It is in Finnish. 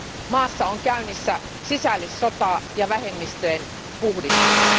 Maassa on käynnissä sisällissota ja vähemmistöjen puhdistus.